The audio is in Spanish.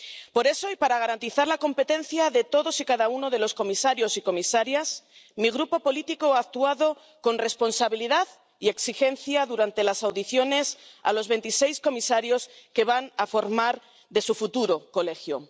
Por eso, y para garantizar la competencia de todos y cada uno de los comisarios y comisarias, mi grupo político ha actuado con responsabilidad y exigencia durante las audiencias de los veintiséis comisarios que van a formar parte de su futuro Colegio.